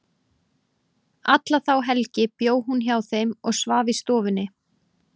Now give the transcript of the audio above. Alla þá helgi bjó hún hjá þeim og svaf í stofunni.